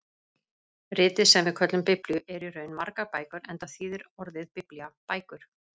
Ritið sem við köllum Biblíu er í raun margar bækur enda þýðir orðið biblía bækur.